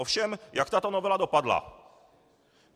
Ovšem, jak tato novela dopadla?